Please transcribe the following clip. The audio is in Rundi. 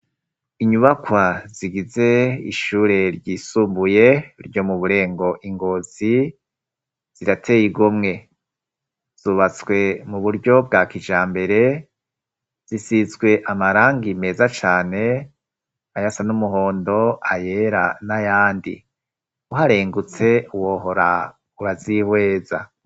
Inyubakwa zigize ishure ryisumbuye ryo mu burengo i Ngozi zirateye igomwe zubatswe mu buryo bwa kij mbere zisizwe amarangi meza cane ayasa n'umuhondo, ayera n'ayandi. Uharengutse wohora urazihweza.